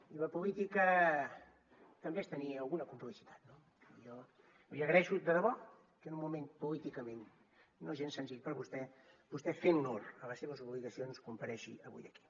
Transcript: i la política també és tenir alguna complicitat no jo li agraeixo de debò que en un moment políticament no gens senzill per a vostè vostè fent honor a les seves obligacions comparegui avui aquí